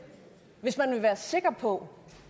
hvis man vil være sikker på